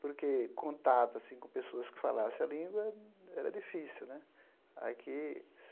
Porque contato assim com pessoas que falassem a língua era difícil né. Aqui